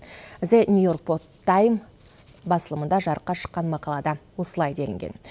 дзе нью йорк под тайм басылымында жарыққа шыққан мақалада осылай делінген